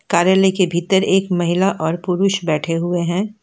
कार्यालय के भीतर एक महिला और पुरुष बैठे हुए हैं।